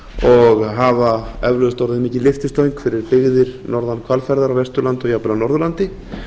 og hafa eflaust orðið mikil lyftistöng fyrir byggðir norðan hvalfjarðar á vesturlandi og jafnvel á norðurlandi